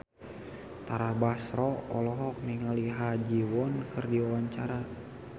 Tara Basro olohok ningali Ha Ji Won keur diwawancara